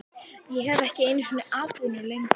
Ég hef ekki einu sinni atvinnu lengur